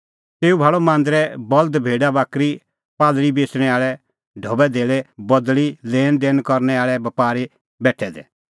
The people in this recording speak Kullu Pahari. तेऊ भाल़अ मांदरै बल्द भेडाबाकरी कबूतरा बेच़णैं आल़ै ढबैधेल्लै बदल़ी लैणदैण करनै आल़ै बपारी बेठै दै